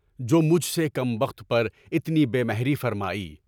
جو مجھ سے کم وقت پر اتنی بے مہری فرمائی۔